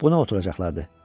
Buna oturacaqlardı.